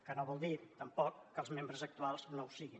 que no vol dir tampoc que els membres actuals no ho siguin